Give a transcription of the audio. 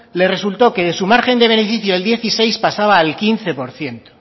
le resultó que de su margen de beneficio de dieciséis pasaba al quince por ciento